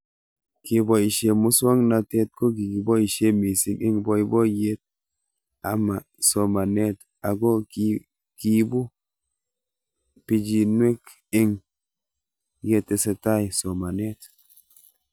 Kepoishe muswog'natet ko kikipoishe mising' eng' poipoiyet ama somanet ako kiipu pichinwek eng' ye tesetai somanet